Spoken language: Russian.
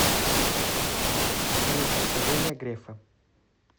салют откровения грефа